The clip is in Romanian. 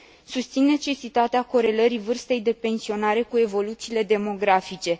Susțin necesitatea corelării vârstei de pensionare cu evoluțiile demografice.